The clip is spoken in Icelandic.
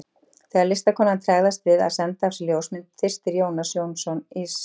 Þegar listakonan tregðast við að senda af sér ljósmynd byrstir Jónas Jónsson sig.